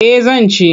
Eh zan ci.